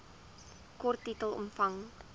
kort titel omvang